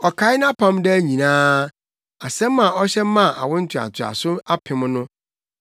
Ɔkae nʼapam daa nyinaa, asɛm a ɔhyɛ maa awo ntoantoaso apem no,